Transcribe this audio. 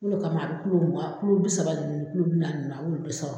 O le kama a bɛ kulo mugan kulo bi saba ninnu kulo bi naani ninnu a bɛ olu de sɔrɔ.